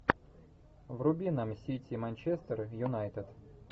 вруби нам сити манчестер юнайтед